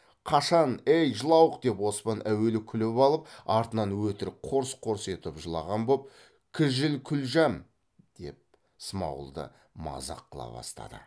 қашан эй жылауық деп оспан әуелі күліп алып артынан өтірік қорс қорс етіп жылаған боп кіжіл қүлжәм деп смағұлды мазақ қыла бастады